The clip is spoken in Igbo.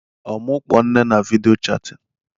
Ọ mụ kpọọ nne na vidiyo chatin?